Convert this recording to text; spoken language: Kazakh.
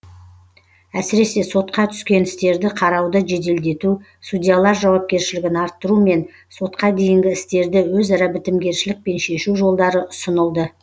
әсіресе сотқа түскен істерді қарауды жеделдету судьялар жауапкершілігін арттыру мен сотқа дейінгі істерді өзара бітімгершілікпен шешу жолдары ұсынылды